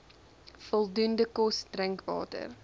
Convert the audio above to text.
voldoende kos drinkwater